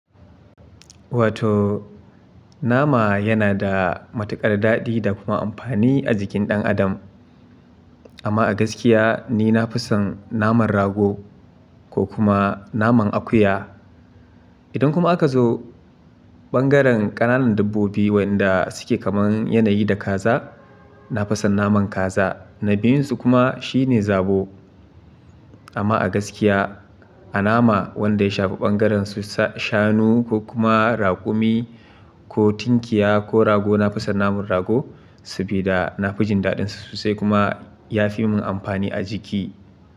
Wato nama yana da matuƙar daɗi da kuma amfani a jikin ɗan adam. Amma a gaskiya ni na fi son naman rago ko kuma naman akuya. Idan kuma aka zo bangaren ƙananan dabbobi wa yanda suke kamar yanayi da kaza, na fi son naman kaza. Na biyun su kuma shine zabo. Amma a gaskiya a nama wanda ya shafi bangaren su shanu ko kuma raƙumi ko tinkiya ko rago, na fi son naman rago sabida na fi jin daɗin su sai kuma ya fi mun amfani a jiki.